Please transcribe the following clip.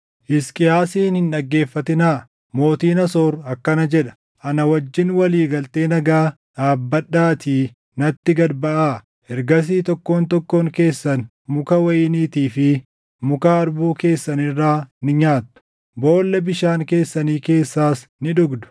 “Hisqiyaasin hin dhaggeeffatinaa. Mootiin Asoor akkana jedha: Ana wajjin walii galtee nagaa dhaabbadhaatii natti gad baʼaa. Ergasii tokkoon tokkoon keessan muka wayiniitii fi muka harbuu keessan irraa ni nyaattu; boolla bishaan keessanii keessaas ni dhugdu;